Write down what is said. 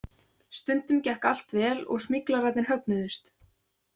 Stundum gekk allt vel og smyglararnir högnuðust.